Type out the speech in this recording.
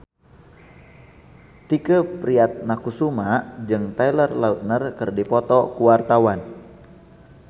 Tike Priatnakusuma jeung Taylor Lautner keur dipoto ku wartawan